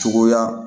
Cogoya